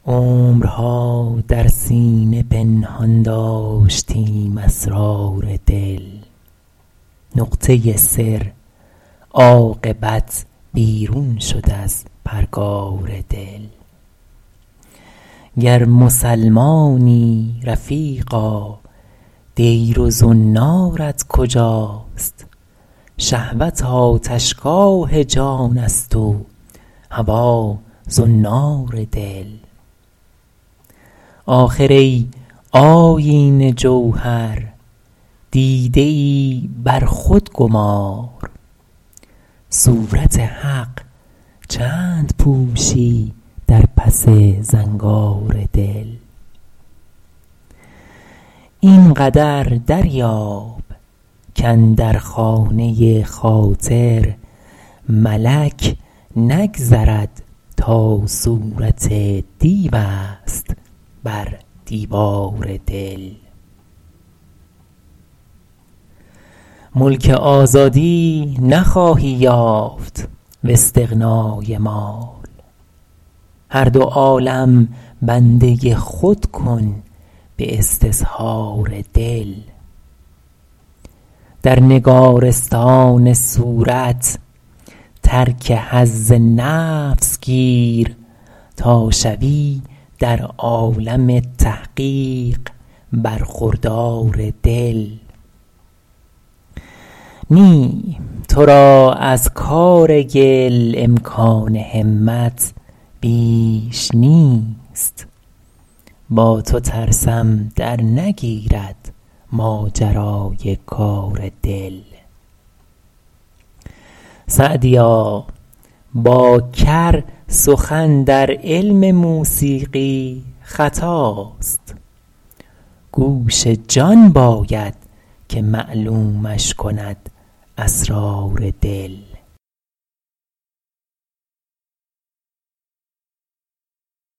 عمرها در سینه پنهان داشتیم اسرار دل نقطه سر عاقبت بیرون شد از پرگار دل گر مسلمانی رفیقا دیر و زنارت کجاست شهوت آتشگاه جان است و هوا زنار دل آخر ای آیینه جوهر دیده ای بر خود گمار صورت حق چند پوشی در پس زنگار دل این قدر دریاب کاندر خانه خاطر ملک نگذرد تا صورت دیو است بر دیوار دل ملک آزادی نخواهی یافت واستغنای مال هر دو عالم بنده خود کن به استظهار دل در نگارستان صورت ترک حظ نفس گیر تا شوی در عالم تحقیق برخوردار دل نی تو را از کار گل امکان همت بیش نیست با تو ترسم درنگیرد ماجرای کار دل سعدیا با کر سخن در علم موسیقی خطاست گوش جان باید که معلومش کند اسرار دل